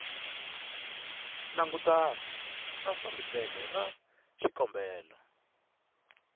langutana na fambiselo ra xikombelo